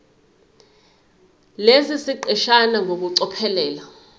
lesi siqeshana ngokucophelela